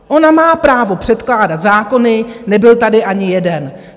Ona má právo předkládat zákony - nebyl tady ani jeden.